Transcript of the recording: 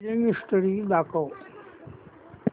billing history दाखव